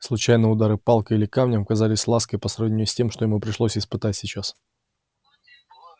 случайные удары палкой или камнем казались лаской по сравнению с тем что ему пришлось испытать сейчас